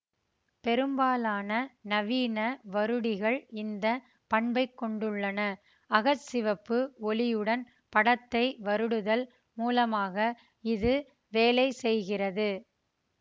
பெரும்பாலான நவீன வருடிகள் இந்த பண்பைக் கொண்டுள்ளன அக சிவப்பு ஒலியுடன் படத்தை வருடுதல் மூலமாக இது வேலை செய்கிறது